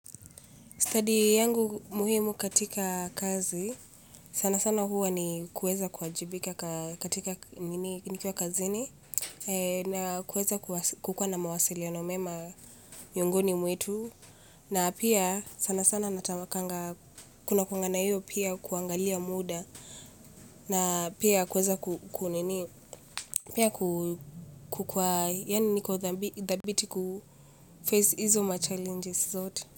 Study yangu muhimu katika kazi, sana sana huwa ni kueza kuwajibika katika nikiwa kazini, na kueza kukua na mawasiliano mema miongoni mwetu, na pia sana sana natamkanga kuna kukwanga na hiyo pia kuangalia muda, na pia kuweza ku nini pia ku kukua yaani niko thabiti kuface izo machallenges zote.